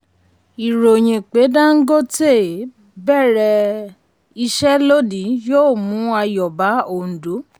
ìròyìn pé dangote um bẹ̀rẹ̀ um iṣẹ́ lónìí yóò mú ayọ̀ bá òǹdó.